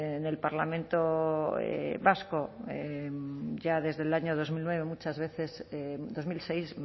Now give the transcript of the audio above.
en el parlamento vasco ya desde el año dos mil nueve muchas veces dos mil seis